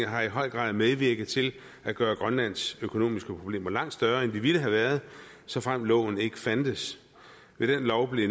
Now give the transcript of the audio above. har i høj grad medvirket til at gøre grønlands økonomiske problemer langt større end de ville have været såfremt loven ikke fandtes ved den lov blev